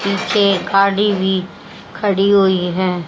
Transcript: नीचे गाड़ी भी खड़ी हुई है।